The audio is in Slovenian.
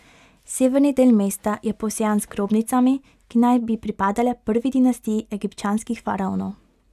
Severni del mesta je posejan z grobnicami, ki naj bi pripadale prvi dinastiji egipčanskih faraonov.